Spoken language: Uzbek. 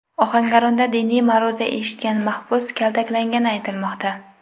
Ohangaronda diniy ma’ruza eshitgan mahbus kaltaklangani aytilmoqda.